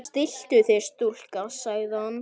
Stilltu þig stúlka, sagði hann.